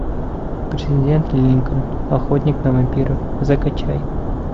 президент линкольн охотник на вампиров закачай